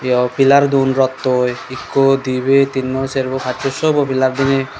aro pillar dun rottoi ekko dibey tinnu serbu paccho sow bo pillar diney.